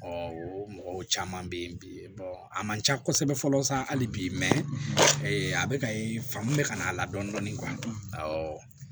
mɔgɔw caman bɛ ye bi a man ca kosɛbɛ fɔlɔ sisan hali bi a bɛ ka ye fan mun bɛ ka n'a la dɔɔnin dɔɔnin